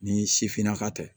Ni sifinnaka tɛ